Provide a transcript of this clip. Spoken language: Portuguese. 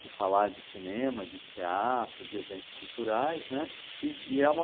de falar de cinema, de teatro, de eventos culturaisn né, e é uma...